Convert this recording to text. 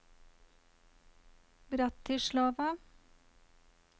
Bratislava